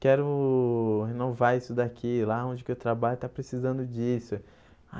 quero renovar isso daqui, lá onde que eu trabalho está precisando disso.